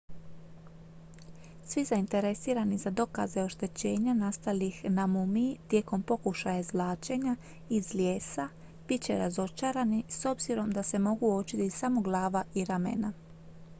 svi zainteresirani za dokaze oštećenja nastalih na mumiji tijekom pokušaja izvlačenja iz lijesa bit će razočarani s obzirom da se mogu uočiti samo glava i ramena